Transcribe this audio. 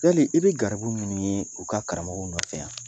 Jeli i be garibu munnu ye u ka karamɔgɔw nɔfɛ yan